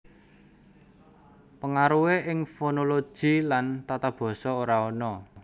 Pengaruhé ing fonologi lan tatabasa ora ana